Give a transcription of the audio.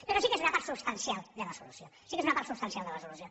però sí que és una part substancial de la solució sí que és una part substancial de la solució